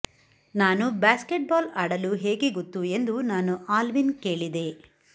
ನಾನು ಬ್ಯಾಸ್ಕೆಟ್ಬಾಲ್ ಆಡಲು ಹೇಗೆ ಗೊತ್ತು ಎಂದು ನಾನು ಆಲ್ವಿನ್ ಕೇಳಿದೆ